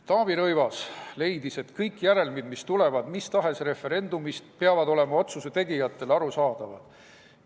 Taavi Rõivas leidis, et kõik järelmid, mis tulenevad mis tahes referendumist, peavad olema otsuse tegijatele arusaadavad.